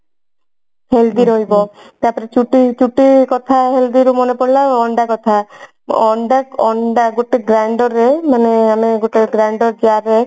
healthy ରହିବ ତାପରେ ଚୁଟି ଚୁଟି କଥା healthy ରୁ ମନେ ପଡିଲା ଅଣ୍ଡା କଥା ଅଣ୍ଡା ଅଣ୍ଡା ଗୋଟେ grinder ରେ ମାନେ ଗୋଟେ grinder jar ରେ